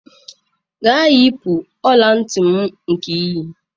Gaa yipụ ọla ntị m nke i yi!